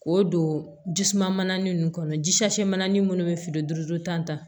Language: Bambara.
K'o don jisuma mana nin kɔnɔ ji sase mana ni minnu bɛ feere duuru ta